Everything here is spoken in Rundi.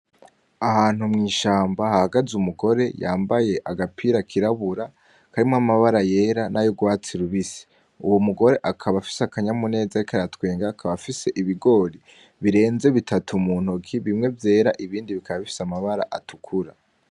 Ahantu mwishamba hahagaze umugore yambaye agapira kirabura karimo namabara yera na y'urwatsi rubisi. Uwo mugore akaba afise akanyamuneza ariko aratwenga akaba afise ibigori birenze bitatu mu ntoki bimwe vyera ibindi bikaba bifise amabara atukura.